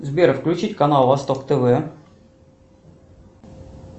сбер включить канал восток тв